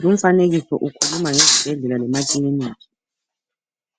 Lumfanekiso ukhuluma ngezibhedlela lemakilinika.